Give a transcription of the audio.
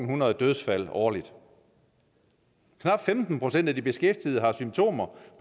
hundrede dødsfald årligt knap femten procent af de beskæftigede har symptomer